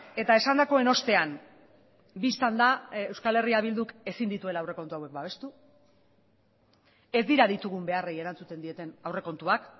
eta esandakoen ostean bistan da euskal herria bilduk ezin dituela aurrekontu hauek babestu ez dira ditugun beharrei erantzuten dieten aurrekontuak